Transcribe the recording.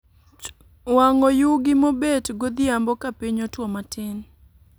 Wang'o yugi mobet godhiambo ka piny otwo matin